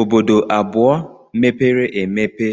Obodo abụọ mepere emepe